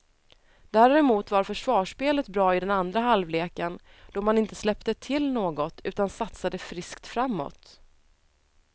Däremot var försvarsspelet bra i den andra halvleken då man inte släppte till något, utan satsade friskt framåt.